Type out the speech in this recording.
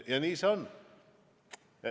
Nii see on.